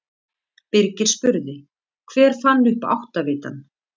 Birgir spurði: Hver fann upp áttavitann?